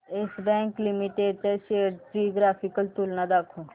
yes Bank Limited च्या shares ची graphical तुलना दाखव